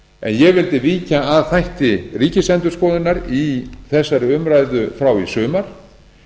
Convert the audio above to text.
en ég vildi víkja að þætti ríkisendurskoðunar í þessari umræðu frá í sumar